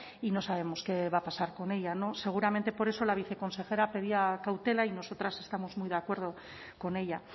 y no sabemos qué va a pasar con ellas seguramente por eso la viceconsejera pedía cautela y nosotras estamos muy de acuerdo con ella